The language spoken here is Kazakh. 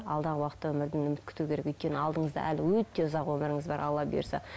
алдағы уақытта өмірден үміт күту керек өйткені алдыңызда әлі өте ұзақ өміріңіз бар алла бұйырса